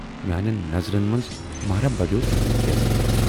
میانٮ۪ن نَظرن مَنز مہراہ بڈٮ۪و تُہُند یَزتھ۔